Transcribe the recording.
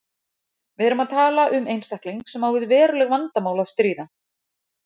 Við erum að tala um einstakling sem á við veruleg vandamál að stríða.